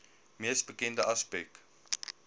mees bekende aspek